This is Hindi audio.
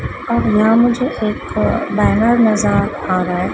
और यहां मुझे एक बैनर नजर आ रहा है।